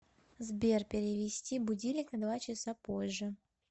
сбер перевести будильник на два часа позже